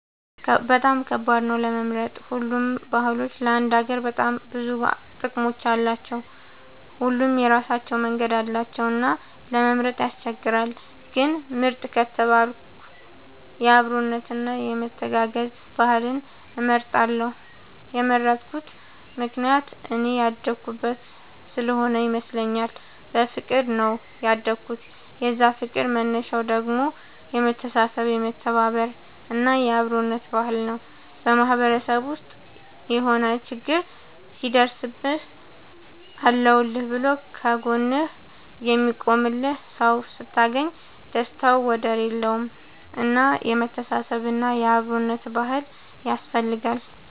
በጣም ከባድ ነው ለመምረጥ ሁሉም ባህሎች ለአንድ ሀገር በጣም ብዙ ጥቅም አላቸው። ሁሉም የራሳቸው መንገድ አላቸው እና ለመምረጥ ያስቸግራል። ግን ምርጥ ከተባልኩ የአብሮነት እና የመተጋገዝ ባህልን እመርጣለሁ የመረጥኩት ምክንያት እኔ ያደኩበት ስሆነ ይመስለኛል። በፍቅር ነው ያደኩት የዛ ፍቅር መነሻው ደግሞ የመተሳሰብ የመተባበር እና የአብሮነት ባህል ነው። በማህበረሰብ ውስጥ የሆነ ችግር ሲደርስብህ አለሁልህ ብሎ ከ ጎንህ የሚቆምልህ ሰው ስታገኝ ደስታው ወደር የለውም። እና የመተሳሰብ እና የአብሮነት ባህል ያስፈልጋል